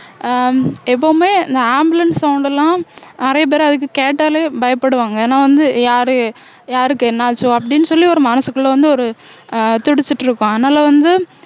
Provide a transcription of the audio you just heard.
அஹ் எப்பவுமே இந்த ambulance sound எல்லாம் நிறைய பேர் அதுக்கு கேட்டாலே பயப்படுவாங்க ஏன்னா வந்து யாரு யாருக்கு என்ன ஆச்சோ அப்படின்னு சொல்லி ஒரு மனசுக்குள்ள வந்து ஒரு துடிச்சிட்டு இருக்கும் அதனால வந்து